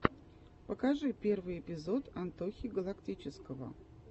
покажи первый эпизод антохи галактического